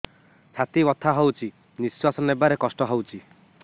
ଛାତି ବଥା ହଉଚି ନିଶ୍ୱାସ ନେବାରେ କଷ୍ଟ ହଉଚି